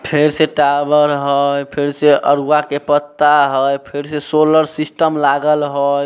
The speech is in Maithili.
फेर से टावर हेय फेर से अरुवा के पत्ता हेय फेर से सोलर सिस्टम हेय।